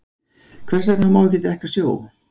Hvers vegna má ekki drekka sjó?